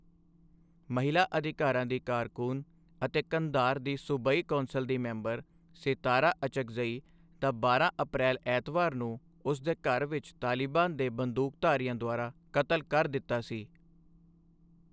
ਮਹਿਲਾ ਅਧਿਕਾਰਾਂ ਦੀ ਕਾਰਕੁਨ ਅਤੇ ਕੰਧਾਰ ਦੀ ਸੂਬਾਈ ਕੌਂਸਲ ਦੀ ਮੈਂਬਰ ਸਿਤਾਰਾ ਅਚਕਜ਼ਈ ਦਾ ਬਾਰਾਂ ਅਪਰੈਲ ਐਤਵਾਰ ਨੂੰ ਉਸ ਦੇ ਘਰ ਵਿੱਚ ਤਾਲਿਬਾਨ ਦੇ ਬੰਦੂਕਧਾਰੀਆਂ ਦੁਆਰਾ ਕਤਲ ਕਰ ਦਿੱਤਾ ਸੀ।